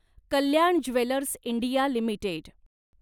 Kalyan jewellers India limited